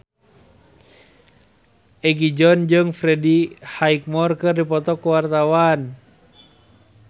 Egi John jeung Freddie Highmore keur dipoto ku wartawan